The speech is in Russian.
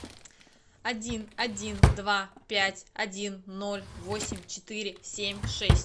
один один два пять один ноль восемь четыре семь шесть